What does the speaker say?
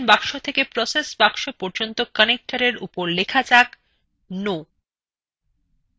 decision box থেকে process box পর্যন্ত connector এর উপর লেখা যাক: no